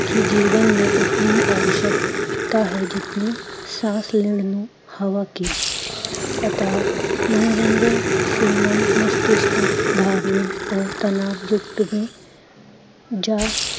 ਕੀ ਜੀਵਨ ਮੇ ਉਤਨੀ ਹੀਂ ਅਵਸ਼ਕਤਾ ਹੈ, ਜਿਤਨੀ ਸਾਸ ਲੈਣ ਨੂੰ, ਹਵਾ ਕੀ ਅਥਾਹ ਮਨੋਰੰਜਨ, ਸ਼ਿਮਨ, ਮਸਤਿਸ਼ਠ, ਬਾਰਨੇ ਓਰ ਤਨਾਅਯੁਕਤ ਮੇ ਜਾਂ